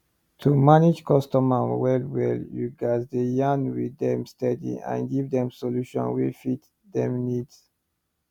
to manage customer wellwell you gats dey yarn with dem steady and give dem solution wey fit dem need